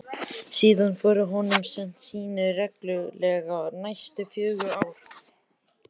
Síðan voru honum send sýni reglulega næstu fjögur ár.